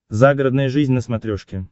загородная жизнь на смотрешке